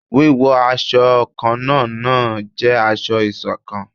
Wíwọ awọ kánna náà n jẹ aṣọ-isokan